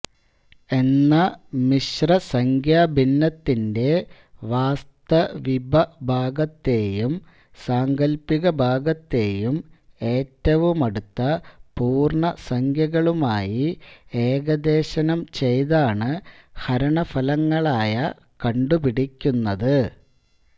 എന്ന മിശ്രസംഖ്യാഭിന്നത്തിന്റെ വാസ്തവികഭാഗത്തെയും സാങ്കല്പികഭാഗത്തെയും ഏറ്റവുമടുത്ത പൂർണ്ണസംഖ്യകളുമായി ഏകദേശനം ചെയ്താണ് ഹരണഫലങ്ങളായ കണ്ടുപിടിക്കുന്നത്